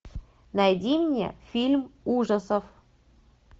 найди мне фильм ужасов